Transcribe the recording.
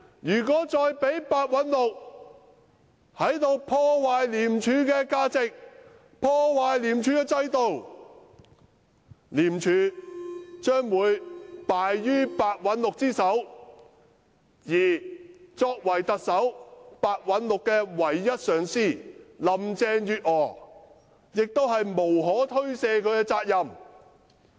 要是繼續讓白韞六破壞廉署的價值和制度的話，則廉署將敗於白韞六之手，而特首林鄭月娥作為白韞六唯一的頂頭上司，實在責無旁貸。